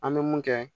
An bɛ mun kɛ